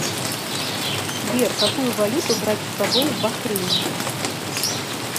сбер какую валюту брать с собой в бахрейн